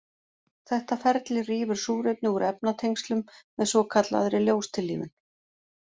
Þetta ferli rýfur súrefni úr efnatengslum með svokallaðri ljóstillífun.